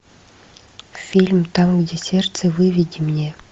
фильм там где сердце выведи мне